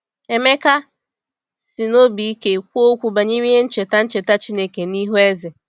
Emeka sị n’obi ike kwuo okwu banyere ihe ncheta ncheta Chineke n’ihu eze.